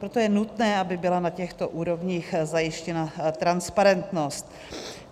Proto je nutné, aby byla na těchto úrovních zajištěna transparentnost.